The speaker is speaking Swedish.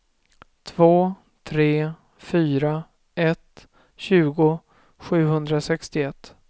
två tre fyra ett tjugo sjuhundrasextioett